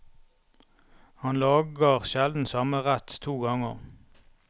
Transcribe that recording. Han lager sjelden samme rett to ganger.